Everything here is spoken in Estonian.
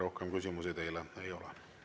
Rohkem küsimusi teile ei ole.